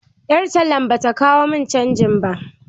Ƴar tallan bata kawo mun canji ba.